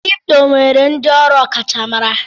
Kripto nwere ndị ọrụ ọkachamara.